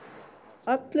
allur